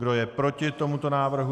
Kdo je proti tomuto návrhu?